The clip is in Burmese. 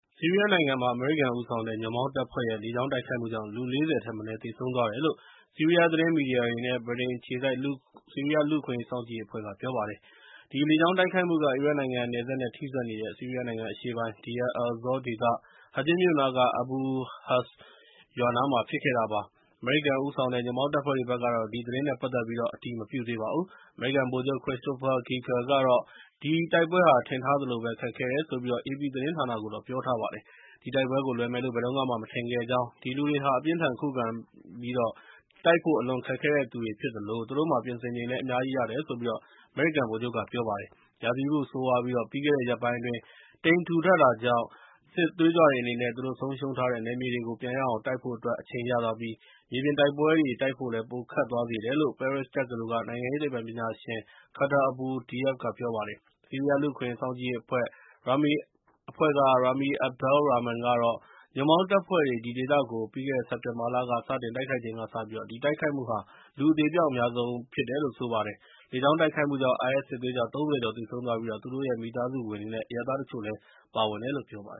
ဆီးရီးယားနိုင်ငံမှာ အမေရိကန်ဦးဆောင်တဲ့ ညွှန့်ပေါင်းတပ်ဖွဲ့ရဲ့ လေကြောင်းတိုက်ခိုက်မှုကြောင့် လူ ၄၀ ထက်မနည်း သေဆုံးသွားတယ်လို့ ဆီးရီးယားသတင်းမီဒီယားတွေ နဲ့ ဗြိတိန်အခြေစိုက် ဆီးရီးယားလူ့အခွင့်အရေးစောင့်ကြည့်ရေးအဖဲ့ွ့က ပြောပါတယ်။ ဒီလေကြောင်းတိုက်ခိုက်မှုက အီရတ်နိုင်ငံနယ်စပ်နဲ့ထိစပ်နေတဲ့ ဆီးရီးယားနိုင်ငံအရှေ့ပိုင်း Deir el-Zor ဒေသ Hajin မြို့နားက Abu Husn ရွာနားမှာဖြစ်ခဲ့တာပါ။ အမေရိကန်ဦးဆောင်တဲ့ ညွှန့်ပေါင်းတပ်ဖွဲ့တွေဘက်ကတော့ ဒီသတင်းနဲ့ ပတ်သက်ပြီး အတည်မပြုသေးပါဘူး။ အမေရိကန် ဗိုလ်ချုပ် Christopher Ghika ကတော့ ဒီတိုက်ပွဲဟာ ထင်ထားသလိုပဲ ခက်ခဲတယ်ဆိုပြီး အေပီသတင်းဌာနကို ပြောပါတယ်။ ဒီတိုက်ပွဲကိုလွယ်မယ်လို့ ဘယ်တုန်းကမှ မထင်ခဲ့ကြောင်း၊ ဒီလူတွေဟာ အပြင်းအထန်ခုခံပြီး တိုက်ဖို့အလွန်ခက်တဲ့သူတွေဖြစ်သလို၊ သူတို့မှာ ပြင်ဆင်ချိန်လည်း အများကြီးရတယ်လို့ အမေရိကန်ဗိုလ်ချုပ်က ပြောပါတယ်။ ရာသီဥတုဆိုးရွားပြီး ၊ ပြီးခဲ့တဲ့ ရက်ပိုင်းအတွင်း တိပ်ထူထပ်နေတာကြောင့်၊ စစ်သွေးကြွတွေအနေနဲ့ သူတို့ဆုံးရှုံးထားတဲ့ နယ်မြေတွေကို ပြန်ရအောင်တိုက်ဖို့အတွက် အချိန်ရသွားပြီး၊ မြေပြင်တိုက်ပွဲတွေ တိုက်ဖို့ ပိုခက်သွားစေတယ်လို့ ပဲရစ်တက္ကသိုလ်က နိုင်ငံရေးသိပ္ပံပညာရှင် Khattar Abou Diab က ပြောပါတယ်။ ဆီးရီးယားလူ့အခွင့်အရေးစောင့်ကြည့်ရေးအဖွဲ့ Rami Abdel Rahman ကတော့ ညွှန့်ပေါင်းတပ်ဖွဲ့တွေ ဒီဒေသကို ပြီးခဲ့တဲ့စက်တင်ဘာလက စတင်တိုက်ခိုက်ချိန်ကစပြီး ဒီတိုက်ခိုက်မှုဟာ လူအသေအပျောက်အများဆုံးဖြစ်တယ်လို့ ပြောပါတယ်။ လေကြောင်းတိုက်ခိုက်မှုှုကြောင့် IS စစ်သွေးကြွ ၃၀ ကျော်သေဆုံးသွားပြီး၊ သူတို့ရဲ့ မိသားစုဝင်တွေ နဲ့ အရပ်သားတချို့လည်း ပါဝင်တယ်လို့ ပြောပါတယ